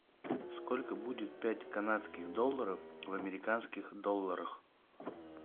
сколько будет пять канадских долларов в американских долларах